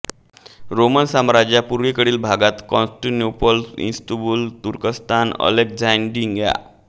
Roman साम्राज्याच्या पूर्वेकडील भागात कॉन्स्टॅन्टिनोपाल इस्तंबूल तुर्कस्तान अलेक्झान्ड्रिया